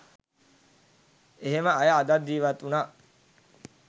එහෙම අය එදත් ජීවත් උනා